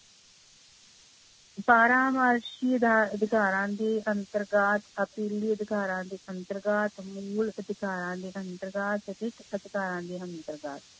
ਬਾਰਾਂ ਵਰਸ਼ੀ ਅਧਿਕਾਰਾਂ ਦੇ ਅੰਤਰਗਤ, ਅਪੀਲੀ ਅਧਿਕਾਰਾਂ ਦੇ ਅੰਤਰਗਤ ਮੂਲ ਅਧਿਕਾਰਾਂ ਦੇ ਅੰਤਰਗਤ ਅਧਿਕਾਰਾਂ ਦੇ ਅੰਤਰਗਤ